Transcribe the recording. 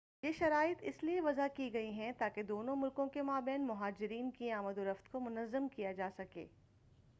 یہ شرائط اس لئے وضع کی گئی ہیں تاکہ دونوں ملکوں کے مابین مہاجرین کی آمد و رفت کو منظم کیا جا سکے